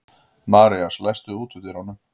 Marías, læstu útidyrunum.